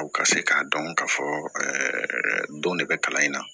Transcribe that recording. Aw ka se k'a dɔn k'a fɔ don de bɛ kalan in na